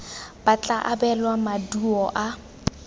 ba tla abelwa maduo a